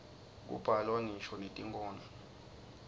kubhalwa ngisho netinkhondlo